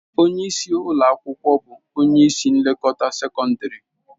Onye isi ụlọ akwụkwọ bụ onye isi nlekọta sekọndrị.